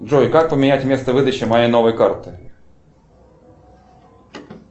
джой как поменять место выдачи моей новой карты